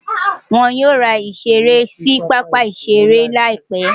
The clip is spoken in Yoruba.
Wọ́n yóò ra ìṣeré sí pápá-ìṣeré láìpé.